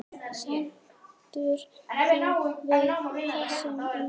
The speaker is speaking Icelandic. Stendur þú við þessi ummæli?